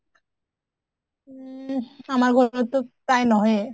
উম আমাৰ ঘৰততো প্ৰায় নহয়ে